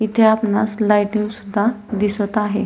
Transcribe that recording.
इथे आपणास लायटिंग सुद्धा दिसत आहे.